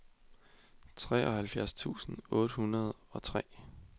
treoghalvfjerds tusind otte hundrede og tre